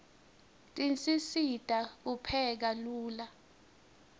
tisisita kupheka lula